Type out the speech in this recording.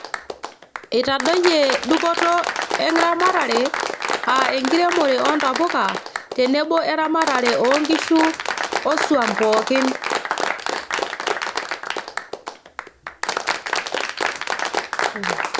Eitadoyie dupoto eramatare aa enkiremore oontapuka tenebo oeramatare oonkishu oswam pookin